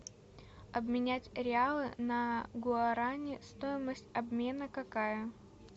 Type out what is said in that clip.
обменять реалы на гуарани стоимость обмена какая